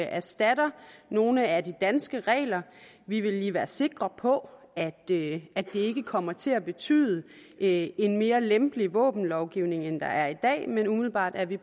erstatter nogle af de danske regler vi vil lige være sikre på at det ikke kommer til at betyde en mere lempelig våbenlovgivning end den der er i dag men umiddelbart er vi